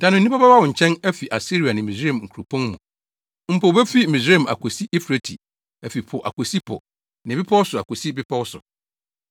Da no, nnipa bɛba wo nkyɛn afi Asiria ne Misraim nkuropɔn mu, mpo wobefi Misraim akosi Eufrate afi po akosi po ne bepɔw so akosi bepɔw so.